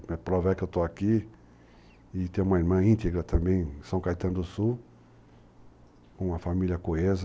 A prova é que eu estou aqui e tenho uma irmã íntegra também, de São Caetano do Sul, uma família coesa.